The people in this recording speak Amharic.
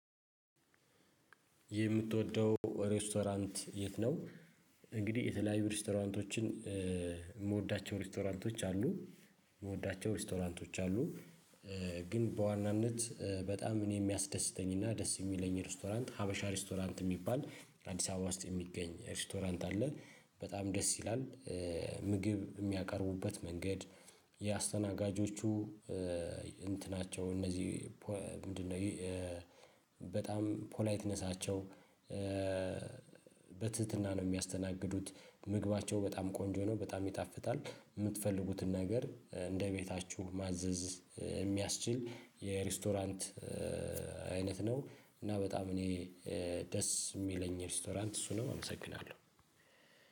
የምትወደው ሬስቶራንት የት ነው? እንግዲህ የተለያዩ ሬስቶራንቶችን የምወዳቸው ሬስቶራንቶች አሉ የምወዳቸው ሬስቶራንቶች አሉ። ግን በዋናነት በጣም እኔ የሚያስደስተኝና ደስ የሚለኝ ሬስቶራንት ሀበሻ ሬስቶራንት የሚባል አዲስ አበባ ውስጥ የሚገኝ ሬስቶራንት አለ። በጣም ደስ ይላል። ምግብ የሚያቀርቡበት መንገድ የአስተናጋጆቹ እንትናቸው እነዚህ ምንድነው? በጣም ፖላይትነሳቸው በትህትና ነው የሚያስተናግዱት። ምግባቸው በጣም ቆንጆ ነው በጣም ይጣፍጣል። የምትፈልጉትን ነገር እንደ ቤታችሁ ማዘዝ የሚያስችል የሬስቶራንት አይነት ነው። እና በጣም እኔ ደስ የሚለኝ ሬስቶራንት እሱ ነው አመሰግናለሁ።